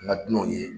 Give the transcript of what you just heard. An ka dunanw ye